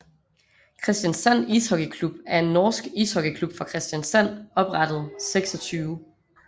Kristiansand Ishockeyklubb er en norsk ishockeyklub fra Kristiansand oprettet 26